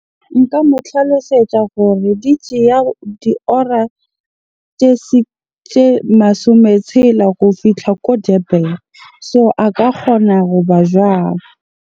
Nka mo tlhalosetsa gore di tjeya diora tje masome tshela go fihla ko Durban. So a ka kgona hoba .